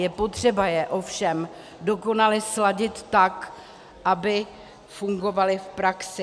Je potřeba je ovšem dokonale sladit tak, aby fungovaly v praxi.